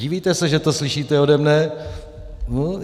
Divíte se, že to slyšíte ode mne?